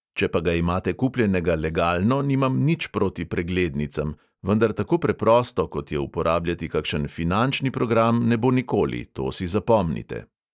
Če pa ga imate kupljenega legalno, nimam nič proti preglednicam, vendar tako preprosto, kot je uporabljati kakšen finančni program, ne bo nikoli, to si zapomnite.